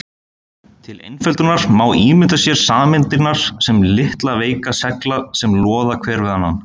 Til einföldunar má ímynda sér sameindirnar sem litla veika segla sem loða hver við annan.